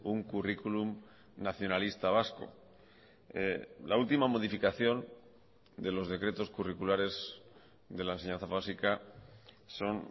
un currículum nacionalista vasco la última modificación de los decretos curriculares de la enseñanza básica son